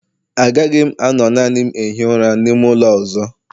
Agaghị m anọ naanị m na-ehi ụra n'ime ụlọ a ọzọ